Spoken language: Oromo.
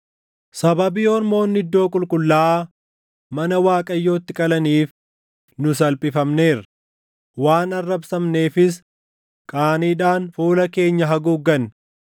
“Sababii ormoonni iddoo qulqullaaʼaa mana Waaqayyootti qalaniif, nu salphifamneerra; waan arrabsamneefis qaaniidhaan fuula keenya haguugganne.”